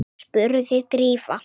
spurði Drífa.